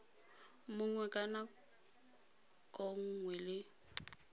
mongwe ka nako nngwe le